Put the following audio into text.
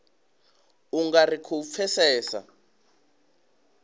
u nga ri khou pfesesa